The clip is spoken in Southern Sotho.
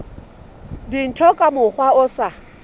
dintho ka mokgwa o sa